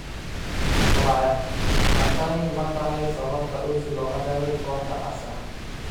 (Murayaad) Ma tani ma tahay sababta Ozil looga reebay kooxda Arsenal?